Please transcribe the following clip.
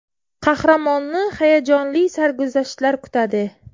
Qahramonni hayajonli sarguzashtlar kutadi.